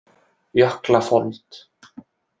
Jöklafold